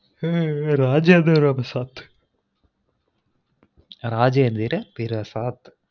ஹஹ ஹே இராஜேந்திர பிரசாத் இராஜேந்திர பிரசாத்